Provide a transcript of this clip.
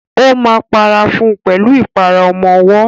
Ó máa para fún pẹ̀lú ìpara ọmọwọ́.